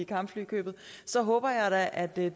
kampflykøbet så håber jeg da at det er